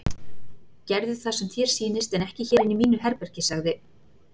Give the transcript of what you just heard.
Gerðu það sem þér sýnist en ekki hér inni í mínu herbergi sagði